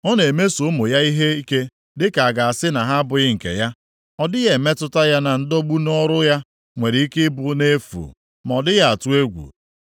Ọ na-emeso ụmụ ya ihe ike dịka a ga-asị na ha abụghị nke ya, ọ dịghị emetụta ya na ndọgbu nʼọrụ ya nwere ike i bụ nʼefu, ma ọ dịghị atụ egwu.